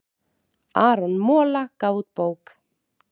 Aron Mola gaf út bók